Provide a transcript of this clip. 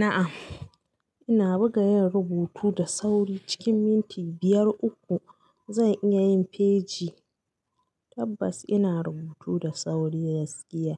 Na'am, ina buga yin rubutu da sauri. Cikin minti biyar uku zan iya yin faji tabbas ina rubutu da sauri da gaskiya.